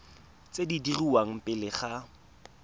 tse di dirwang pele ga